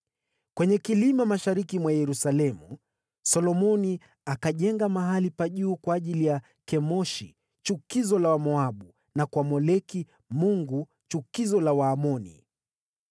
Kwenye kilima mashariki mwa Yerusalemu, Solomoni akajenga mahali pa juu kwa ajili ya Kemoshi chukizo la Wamoabu, na kwa Moleki mungu chukizo la Waamoni.